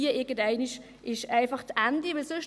Irgendeinmal ist einfach das Ende erreicht.